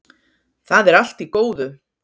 Það er allt í góðu.